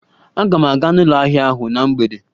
Aga m aga n'ụlọ ahịa ahụ na mgbede.